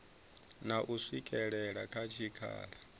na u swikela kha tshikhala